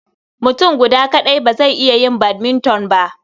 Mutum guda kaɗai ba zai iya yin badminton ba.